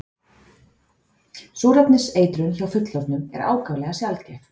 Súrefniseitrun hjá fullorðnum er ákaflega sjaldgæf.